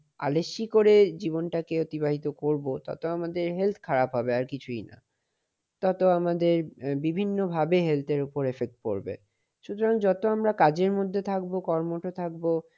আলীশ্যে করে জীবনটা অতিবাহিত করব ততো আমাদের health খারাপ হবে আর কিছু না। ততো আমাদের বিভিন্নভাবে health এর উপর effect পড়বে। সুতরাং যত আমরা কাজের মধ্যে থাকবো কর্মঠ থাকবো।